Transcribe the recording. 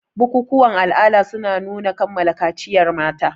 Bukukuwan ala'adar suna nuna kammala kaciyar mata.